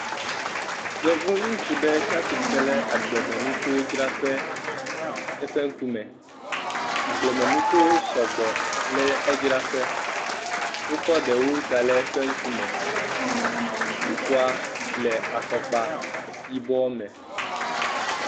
Yevu ŋutsu ɖe tsatsitsre le agblemenukuwodzraƒe eƒe ŋku me, agblemeukuwo sɔgbɔ le edzra ƒe, wokɔ ɖewo da le eƒe ŋku me. Ŋutsua le afɔkpa yibɔ me.